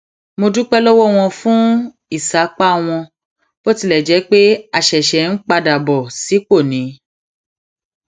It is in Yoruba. mo dúpé lówó wọn fún ìsapá wọn bó tilè jé pé a ṣẹṣẹ ń padà bọ sípò ni